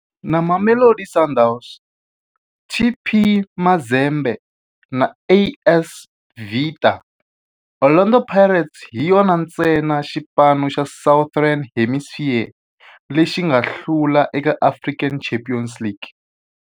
Na Mamelodi Sundowns, TP Mazembe na AS Vita, Orlando Pirates hi yona ntsena xipano xa Southern Hemisphere lexi nga hlula eka African Champions League.